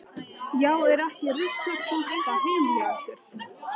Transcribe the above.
Já, er ekki ruslakompa heima hjá ykkur.